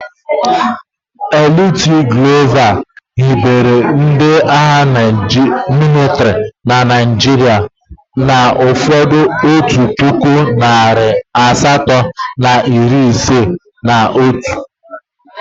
Lt Glover hibere ndị agha mịlịtrị na Naịjirịa n'afọ otu puku, narị asatọ na iri isii na atọ.